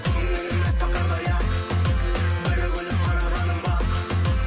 көңілім әппақ қардай ақ бір күліп қарағаның бақ